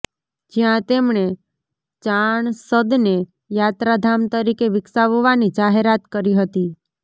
જ્યાં તેમણે ચાણસદને યાત્રાધામ તરીકે વિકસાવવાની જાહેરાત કરી હતી